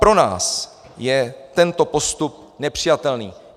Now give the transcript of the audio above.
Pro nás je tento postup nepřijatelný.